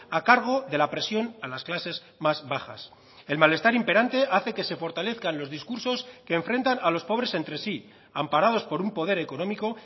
a cargo de la presión a las clases más bajas el malestar imperante hace que se fortalezcan los discursos que enfrentan a los pobres entre sí amparados por un poder económico